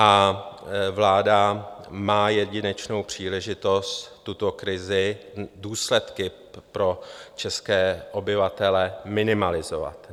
A vláda má jedinečnou příležitost tuto krizi, důsledky pro české obyvatele minimalizovat.